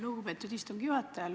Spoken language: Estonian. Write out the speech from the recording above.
Lugupeetud istungi juhataja!